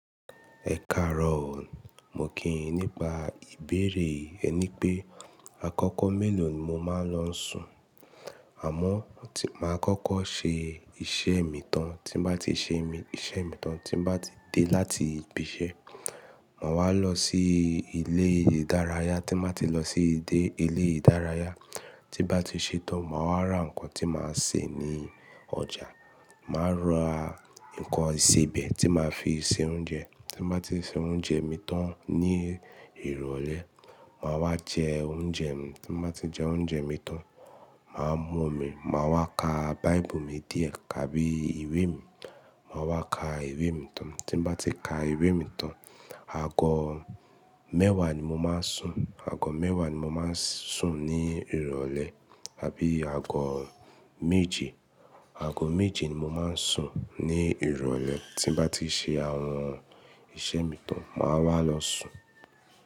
Ẹ káàro o. Mo kì í nípa ìbéèrè ẹ ní pé àkọ́kọ́ mélòó ni mo máa ń lọ sùn. Àmọ́ tí máa kọ́kọ́ ṣe iṣẹ́ mi tán, tí mo bá ti ṣe iṣẹ́ mi tán, tí mo bá ti dé láti ibi iṣẹ́, màá wá lọ sí ilé ìdárayá. Tí mo bá ti lọ sí dé ilé ìdárayá, tí bá ti ṣe tán, màá rà nǹkan tí màá sè ní ọjà. Màá rà nǹkan ìsebẹ̀ tí màá fi se oúnjẹ. Tí mo bá ti se oúnjẹ mi tán ní ìrọ̀lẹ́, màá wá jẹ oúnjẹ mi. Tí mo bá ti jẹ oúnjẹ mi tán, màá mú omi, màá wá ka báíbù mi díẹ̀ tábí i ìwé mi. Màá wá ka ìwé mi tán. Tí mo bá ti ka ìwé mi tán, àgọ́ mẹ́wàá ni mo máa ń sùn. Àgọ́ mẹ́wàá ni mo máa ń sùn ní ìrọ̀lẹ́ àbí àgọ́ méje. Àgọ́ méje ni mo máa ń sùn ní ìrọ̀lẹ́. Tí mo bá ti ṣe àwọn iṣẹ́ mi tán, màá wá lọ sùn.